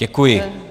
Děkuji.